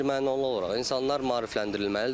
Birmənalı olaraq insanlar maarifləndirilməlidir.